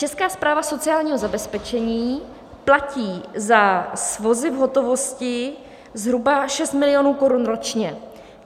Česká správa sociálního zabezpečení platí za svozy v hotovosti zhruba 6 milionů korun ročně.